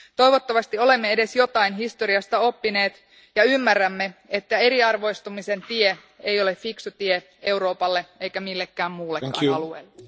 Toivottavasti olemme edes jotain historiasta oppineet ja ymmärrämme, että eriarvoistumisen tie ei ole fiksu tie Euroopalle eikä millekään muullekaan alueelle.